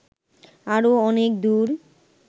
আরো অনেক দূর